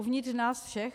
Uvnitř nás všech?